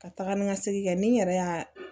Ka taga ni ka segin kɛ ni n yɛrɛ y'a